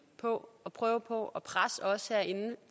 på at prøve på at presse os herinde